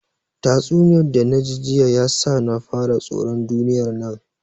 Tatsuniyar da naji jiya ya sa na fara tsoron duniyar nan